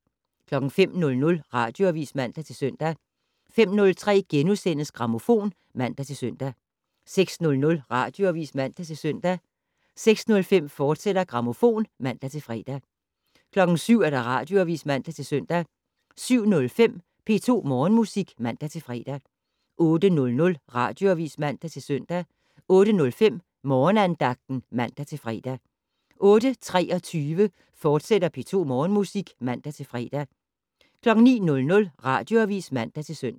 05:00: Radioavis (man-søn) 05:03: Grammofon *(man-søn) 06:00: Radioavis (man-søn) 06:05: Grammofon, fortsat (man-fre) 07:00: Radioavis (man-søn) 07:05: P2 Morgenmusik (man-fre) 08:00: Radioavis (man-søn) 08:05: Morgenandagten (man-fre) 08:23: P2 Morgenmusik, fortsat (man-fre) 09:00: Radioavis (man-søn)